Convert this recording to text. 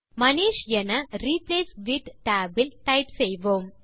மனிஷ் என replace with tab இல் type செய்வோம்